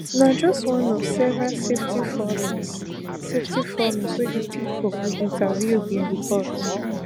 na just one of several safety failings safety failings wey di pipo we interview bin report